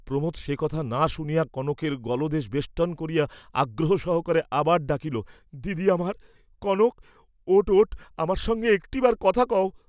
প্রমোদ সে কথা না শুনিয়া কনকের গলদেশ বেষ্টন করিয়া আগ্রহ সহকারে আবার ডাকিলেন, দিদি আমার, কনক, ওঠ ওঠ আমার সঙ্গে একটিবার কথা কও।